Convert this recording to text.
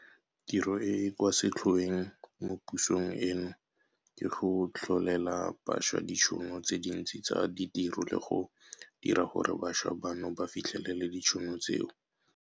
Tiro e e kwa setlhoeng mo pusong eno ke go tlholela bašwa ditšhono tse dintsi tsa ditiro le go dira gore bašwa bano ba fitlhelele ditšhono tseo.